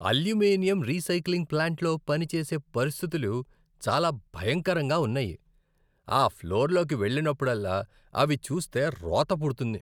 Aluminium recycling ప్లాంట్లో పని చేసే పరిస్థితులు చాలా భయంకరంగా ఉన్నాయి, ఆ ఫ్లోర్లోకి వెళ్ళినప్పుడల్లా అవి చూస్తే రోత పుడుతుంది.